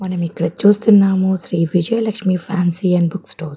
మనం ఇక్కడ చూస్తున్నాం Shri Vijaya Lakshmi fancy and book stores .